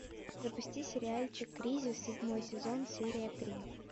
запусти сериальчик кризис седьмой сезон серия три